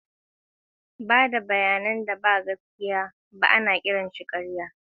Ba da bayanan da ba gaskiya ba da gangan ake kira ƙarya.